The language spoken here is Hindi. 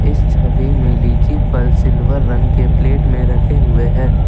छवि में लीची फल सिल्वर रंग के प्लेट में रखे हुए हैं।